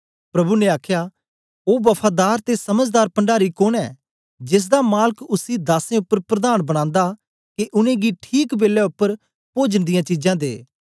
प्रभु ने आखया ओ वफादार ते समझदार पण्डारी कोन ऐ जेसदा मालक उसी दासें उपर प्रधान बनांदा के उनेंगी ठीक बेलै उपर पोजन दियां चीजां दे